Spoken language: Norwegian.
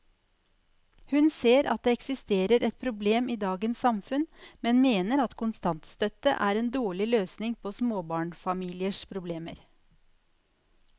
Hun ser at det eksisterer et problem i dagens samfunn, men mener at kontantstøtte er en dårlig løsning på småbarnsfamiliers problemer.